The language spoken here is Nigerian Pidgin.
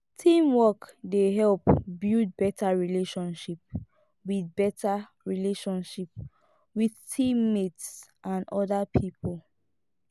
teamwork dey help build better relationship with better relationship with team mates and other people